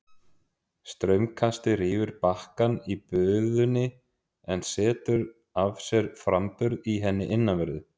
Straumkastið rýfur bakkann í bugðunni en setur af sér framburð í henni innanverðri.